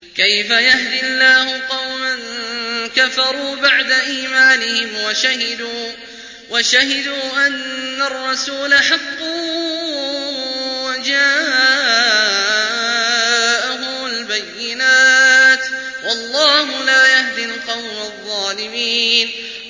كَيْفَ يَهْدِي اللَّهُ قَوْمًا كَفَرُوا بَعْدَ إِيمَانِهِمْ وَشَهِدُوا أَنَّ الرَّسُولَ حَقٌّ وَجَاءَهُمُ الْبَيِّنَاتُ ۚ وَاللَّهُ لَا يَهْدِي الْقَوْمَ الظَّالِمِينَ